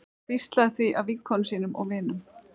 Og hvíslað því að vinkonum sínum og vinum.